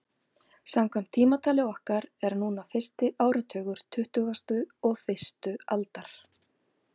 Samkvæmt tímatali okkar er núna fyrsti áratugur tuttugustu og fyrstu aldar.